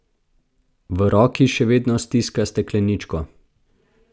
V roki še vedno stiska stekleničko.